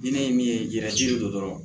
Ni ne ye min ye yɛrɛ jiri don dɔrɔn